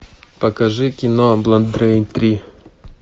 покажи кино бладрейн три